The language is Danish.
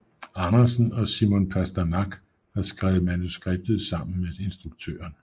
Andersen og Simon Pasternak har skrevet manuskriptet sammen med instruktøren